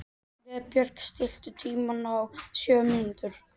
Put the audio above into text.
Vébjörg, stilltu tímamælinn á sjö mínútur.